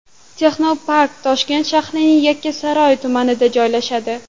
Texnopark Toshkent shahrining Yakkasaroy tumanida joylashadi.